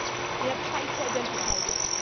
We have tried to identify this.